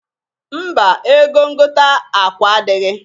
Mba! Ego ngota akwa adịghị.